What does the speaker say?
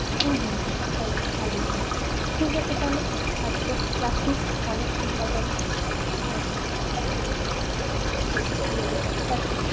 হম হম হম তাহলে তো ভালোই হয় ঠিকাছে তাহলে আজকে রাখি অনেক্ষন কথা হলো। হম হম ঠিক সেই ঠিকাছে চল টাটা।